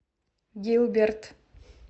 гилберт